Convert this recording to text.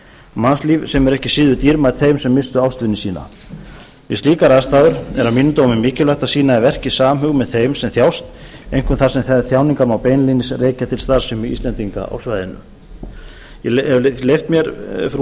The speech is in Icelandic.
mannslíf sem eru ekki síður dýrmæt þeim sem misstu ástvini sína við slíkar aðstæður er að mínum dómi mikilvægt að sýna í verki samhug með þeim sem þjást einkum þar sem þær þjáningar má beinlínis rekja til starfsemi íslendinga á svæðinu ég hef leyft mér frú